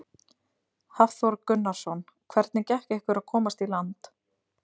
Hafþór Gunnarsson: Hvernig gekk ykkur að komast í land?